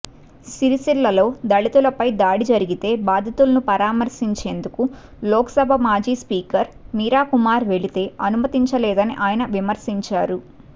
సిరిసిల్లలో దళితులపై దాడి జరిగితే బాధితులను పరామర్శించేందుకు లోక్సభ మాజీ స్పీకర్ మీరాకుమార్ వెళితే అనుమతించ లేదని ఆయన విమర్శించారు